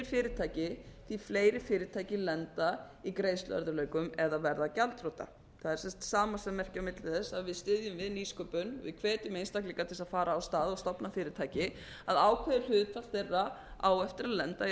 fyrirtæki því fleiri fyrirtæki lenda í greiðsluörðugleikum eða verða gjaldþrota það er sem sagt samasemmerki á milli þess að við styðjum við nýsköpun við hvetjum einstaklinga til þess að ara á stað og stofna fyrirtæki að ákveðinn hluti þeirra á eftir að lenda í